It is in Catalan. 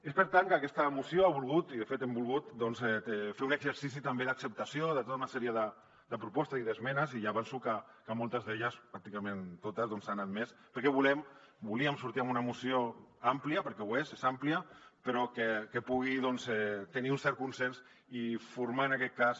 és per tant que aquesta moció ha volgut i de fet hem volgut doncs fer un exercici també d’acceptació de tota una sèrie de propostes i d’esmenes i ja avanço que moltes d’elles pràcticament totes s’han admès perquè volem volíem sortir amb una moció àmplia perquè ho és és àmplia però que pugui tenir un cert consens i formar en aquest cas